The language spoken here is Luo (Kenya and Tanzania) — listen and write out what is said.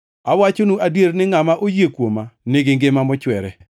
Awachonu adier ni ngʼama oyie kuoma nigi ngima mochwere.